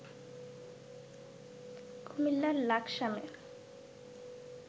কুমিল্লার লাকসামে